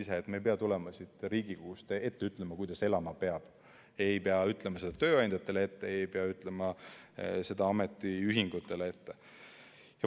Me ei pea tulema siit Riigikogust ette ütlema, kuidas elama peab, ei pea ütlema seda tööandjatele ette, ei pea ütlema seda ametiühingutele ette.